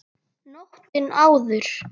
Nóttina áður!